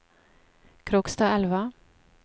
Krokstadelva